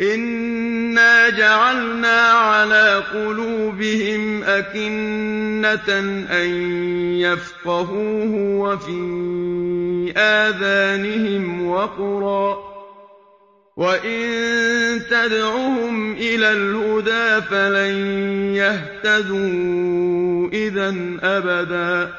إِنَّا جَعَلْنَا عَلَىٰ قُلُوبِهِمْ أَكِنَّةً أَن يَفْقَهُوهُ وَفِي آذَانِهِمْ وَقْرًا ۖ وَإِن تَدْعُهُمْ إِلَى الْهُدَىٰ فَلَن يَهْتَدُوا إِذًا أَبَدًا